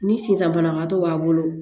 Ni sisan banabagatɔ b'a bolo